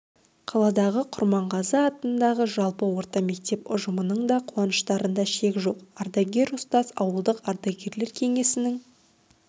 қаладағы құрманғазы атындағы жалпы орта мектеп ұжымының да қуаныштарында шек жоқ ардагер ұстаз ауылдық ардагерлер кеңесінің